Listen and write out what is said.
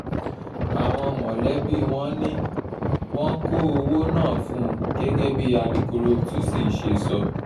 àwọn mọ̀lẹ́bí wọn ni wọ́n kọ owó náà fún gẹ́gẹ́ bí alūkkóró tuci ṣe sọ